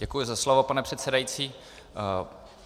Děkuji za slovo, pane předsedající.